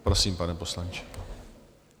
Prosím, pane poslanče.